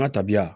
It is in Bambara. An ka tabiya